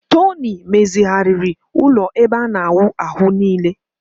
Tony mezighariiri ulo ebe ana awu ahu nile